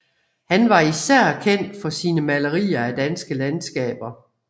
Han var især kendt for sine malerier af danske landskaber